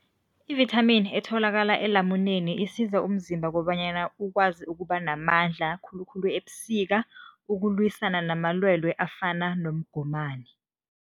Ivithamini etholakala elamuneni isiza umzimba kobanyana ukwazi ukuba namandla khulukhulu ebusika, ukulwisana namalwelwe afana nomgomani.